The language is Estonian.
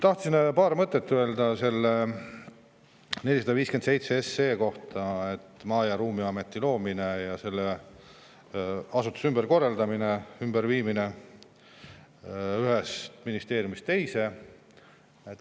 Tahtsin öelda paar mõtet selle 457 SE kohta: Maa- ja Ruumiameti loomine ja selle asutuse ümberkorraldamine, viimine ühest ministeeriumist teise.